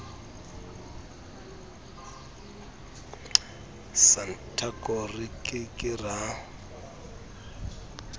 santaco re ke ke ra